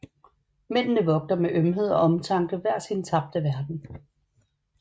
Mændene vogter med ømhed og omtanke hver sin tabte verden